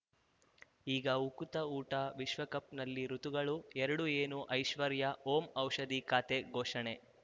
ಈಗ ಉಕುತ ಊಟ ವಿಶ್ವಕಪ್‌ನಲ್ಲಿ ಋತುಗಳು ಎರಡು ಏನು ಐಶ್ವರ್ಯಾ ಓಂ ಔಷಧಿ ಖಾತೆ ಘೋಷಣೆ